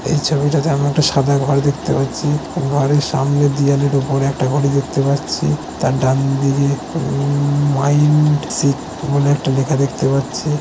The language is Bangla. এই ছবিটাতে আমি একটা সাদা ঘর দেখতে পাচ্ছি ঘরের সামনে দিয়ে দিয়ালের উপর একটা ঘড়ি দেখতে পাচ্ছি তার ডানদিকে উম মাইন্ডসিফ্ট বলে একটা লেখা দেখতে পাচ্ছি।